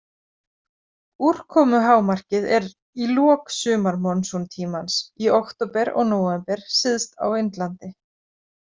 Úrkomuhámarkið er í lok sumarmonsúntímans, í október og nóvember, syðst á Indlandi.